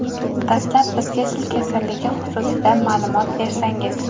Dastlab bizga sil kasalligi xususida ma’lumot bersangiz.